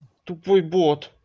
тупой бот